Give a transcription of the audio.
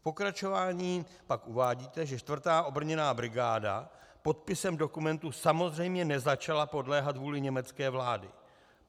V pokračování pak uvádíte, že 4. obrněná brigáda podpisem dokumentu samozřejmě nezačala podléhat vůli německé vlády.